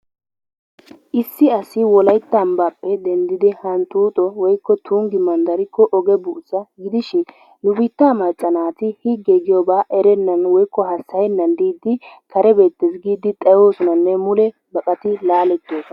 Issi asi wolaytta anbbaappe denddidi hanxuuxo woykko tunggi madarikko oge buussa gidishin nu biittaa higge giyoobaa erennan woykko hasayennan kare beettees giidi xaayoosonaanne mule baqaati laalettoosona.